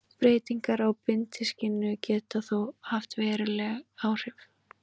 Breytingar á bindiskyldu geta þó haft veruleg áhrif.